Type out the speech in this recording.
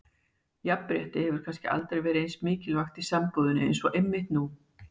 Jafnrétti hefur kannski aldrei verið eins mikilvægt í sambúðinni eins og einmitt nú.